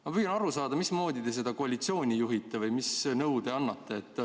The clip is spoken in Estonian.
Ma püüan aru saada, mismoodi te seda koalitsiooni juhite või mis nõu te annate.